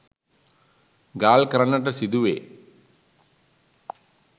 ගාල් කරන්නට සිදුවේ